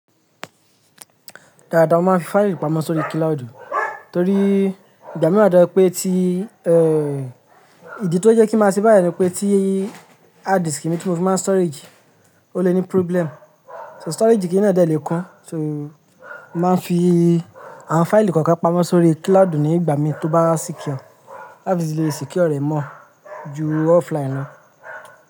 Rárá, wọ́n máa ń fi fáìlì pamọ́ sórí kíláodu torí ìgbà mìíràn jẹ́ pé tí, eh, ìdí tó jẹ́ kí a ṣe báyìí ni pé tí hard disk mi tí mo fi máa ń storage ó le ní problem. So storage kíní náà dẹ̀ le kun, so máa ń fi àwọn fáìlì kọ̀ọ̀kan pamọ́ sórí kíláodu ní ìgbà mi tó bá secure. Láti fi lè secure rẹ̀ mọ́ ju offline lọ.